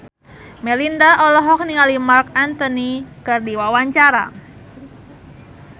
Melinda olohok ningali Marc Anthony keur diwawancara